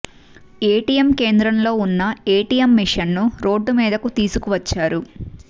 ATM కేంద్రంలో ఉన్న ATM machine ను రోడ్డు మీదకు తీసుకు వచ్చారు